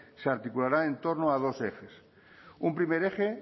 se articulará en torno a dos ejes un primer eje